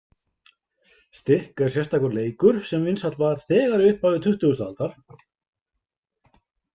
Stikk er sérstakur leikur sem vinsæll var þegar í upphafi tuttugasta aldar.